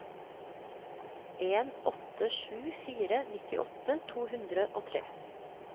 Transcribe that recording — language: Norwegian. en åtte sju fire nittiåtte to hundre og tre